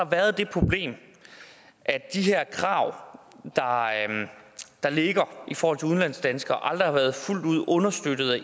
været det problem at de her krav der ligger i forhold til udlandsdanskere aldrig har været fuldt ud understøttet af